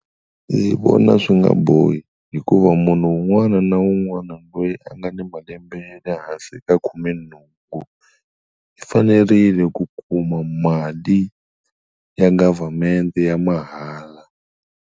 Ndzi vona swi nga bohi hikuva munhu wun'wana na wun'wana loyi a nga ni malembe ya le hansi ka khumenhungu u fanerile ku kuma mali ya government ya mahala.